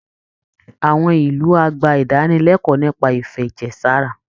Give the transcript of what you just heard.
Àwọn ìlú á gba ìdánilẹ́kọ̀ọ́ nípa ìfẹ̀jẹ̀ sára